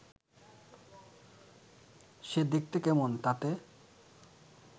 সে দেখতে কেমন, তাতে